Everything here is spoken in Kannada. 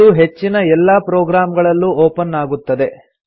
ಇದು ಹೆಚ್ಚಿನ ಎಲ್ಲಾ ಪ್ರೊಗ್ರಾಮ್ ಗಳಲ್ಲೂ ಒಪನ್ ಆಗುತ್ತದೆ